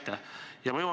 Aitäh!